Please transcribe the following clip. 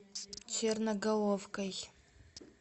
черноголовкой